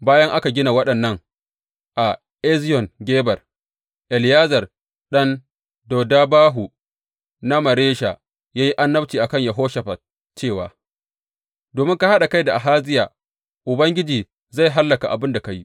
Bayan aka gina waɗannan a Eziyon Geber, Eliyezer ɗan Dodabahu na Maresha ya yi annabci a kan Yehoshafat cewa, Domin ka haɗa kai da Ahaziya, Ubangiji zai hallaka abin da ka yi.